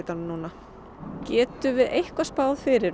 núna getum við eitthvað spáð fyrir